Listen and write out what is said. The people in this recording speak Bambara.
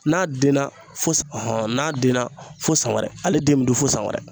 N'a denna fo s n'a denna fo san wɛrɛ ale den mi dun fo san wɛrɛ.